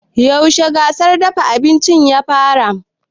Yaushe gasar dafa abinci ya fara?